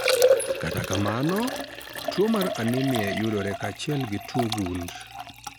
Kata kamano, tuwo mar anemia yudore kaachiel gi tuwo gund.